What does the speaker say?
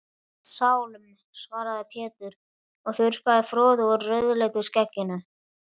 Sálm, svaraði Pétur og þurrkaði froðu úr rauðleitu skegginu.